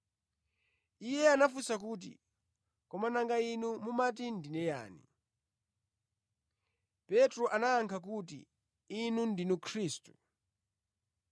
Iye anafunsa kuti, “Koma nanga inu, mumati ndine yani?” Petro anayankha kuti, “Inu ndinu Khristu.”